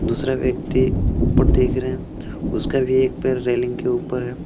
दूसरा व्यक्ति ऊपर देख रहे हैं उसका भी एक पर रेलिंग के ऊपर है।